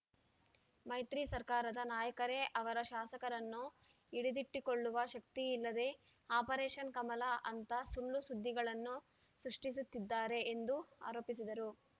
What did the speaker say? ಮೈತ್ರಿ ಸರ್ಕಾರದ ನಾಯಕರೇ ಅವರ ಶಾಸಕರನ್ನು ಹಿಡಿದಿಟ್ಟುಕೊಳ್ಳುವ ಶಕ್ತಿ ಇಲ್ಲದೆ ಆಪರೇಷನ್‌ ಕಮಲ ಅಂತ ಸುಳ್ಳು ಸುದ್ದಿಗಳನ್ನು ಸೃಷ್ಟಿಸುತ್ತಿದ್ದಾರೆ ಎಂದು ಆರೋಪಿಸಿದರು